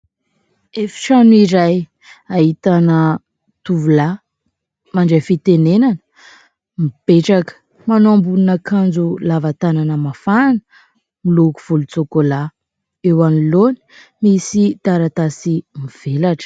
Efitrano iray ahitana tovolahy mandray fitenenana, mipetraka, manao ambonin'akanjo lava tanana mafana miloko volon-tsokolahy. Eo anoloana misy taratasy mivelatra.